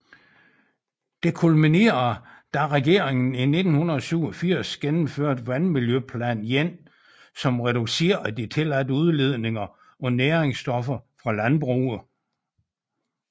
Det kulminerede da regeringen i 1987 gennemførte Vandmiljøplan I som reducerede de tilladte udledninger af næringsstoffer fra landbruget